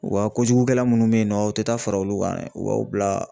O Ka kojugukɛla minnu bɛ yen nɔ u tɛ taa fara olu kan u b'aw bila